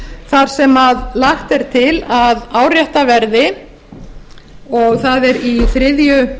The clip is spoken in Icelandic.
þar sem lagt er til að áréttað verði og það er